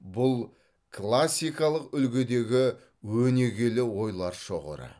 бұл классикалық үлгідегі өнегелі ойлар шоғыры